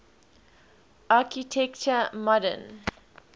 architecture modern